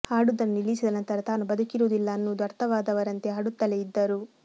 ಹಾಡುವುದನ್ನು ನಿಲ್ಲಿಸಿದ ನಂತರ ತಾನು ಬದುಕಿರುವುದಿಲ್ಲ ಅನ್ನುವುದು ಅರ್ಥವಾದವರಂತೆ ಹಾಡುತ್ತಲೇ ಇದ್ದರು